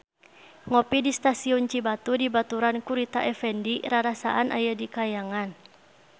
Ngopi di Stasiun Cibatu dibaturan ku Rita Effendy rarasaan aya di kahyangan